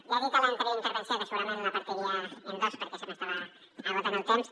ja he dit a l’anterior intervenció que segurament la partiria en dos perquè se m’estava esgotant el temps